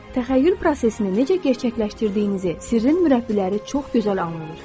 Təxəyyül prosesini necə gerçəkləşdirdiyinizi sirrin mürəbbiləri çox gözəl anladır.